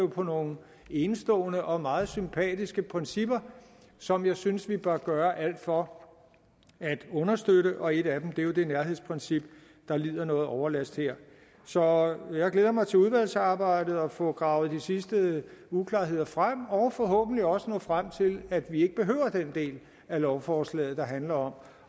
på nogle enestående og meget sympatiske principper som jeg synes vi bør gøre alt for at understøtte og et af dem er jo det nærhedsprincip der lider nogen overlast her så jeg glæder mig til udvalgsarbejdet og til at få gravet de sidste uklarheder frem og forhåbentlig også at nå frem til at vi ikke behøver den del af lovforslaget der handler om